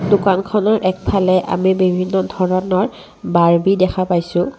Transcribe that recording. দোকানখনৰ একফালে আমি বিভিন্ন ধৰণৰ বাৰবি দেখা পাইছোঁ।